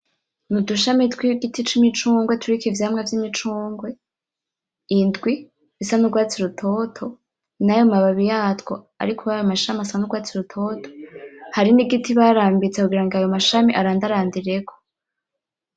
Nudushami twigiti cimicungwe kiriko ivyamwa vyimicungwe indwi dusa nurwatsi rutoto, nayo mababi yatwo ari kurayo mashami asa nurwatsi rutoto, hari nigiti barambitse kugira ayo mashami arandarandireko .